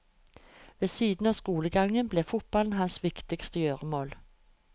Ved siden av skolegangen ble fotballen hans viktigste gjøremål.